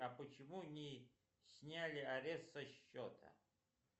а почему не сняли арест со счета